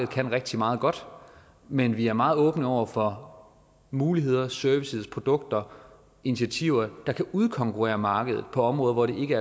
kan rigtig meget godt men vi er meget åbne over for muligheder og services og produkter og initiativer der kan udkonkurrere markedet på områder hvor det ikke